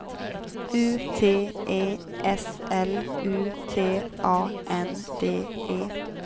U T E S L U T A N D E